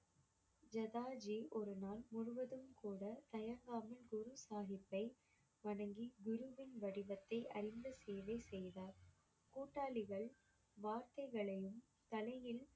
ஜதாஜி ஒரு நாள் முழுவதும் கூட தயங்காமல் குரு சாஹிப்பை வணங்கி குருவின் வடிவத்தை அறிந்து சேவை செய்தார் கூட்டாளிகள் வார்த்தைகளையும் தலையில்